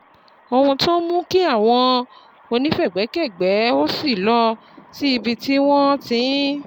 Ohun tó ń mú kí àwọn onífẹ̀gbẹ́kẹ̀gbẹ́ ò ṣí lọ sí ibi tí wọ́n ti ń